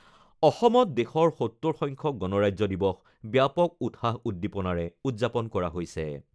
অসমত দেশৰ ৭০ সংখ্যক গণৰাজ্য দিৱস ব্যাপক উৎসাহ উদ্দীপনাৰে উদযাপন কৰা হৈছে।